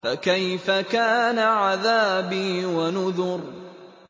فَكَيْفَ كَانَ عَذَابِي وَنُذُرِ